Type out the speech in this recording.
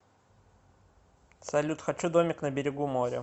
салют хочу домик на берегу моря